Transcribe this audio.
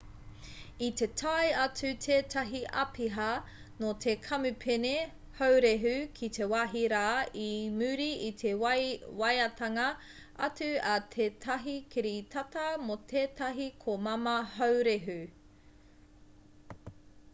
i te tae atu tētahi āpiha nō te kamupene haurehu ki te wāhi rā i muri i te waeatanga atu a tētahi kiritata mō tētahi komama haurehu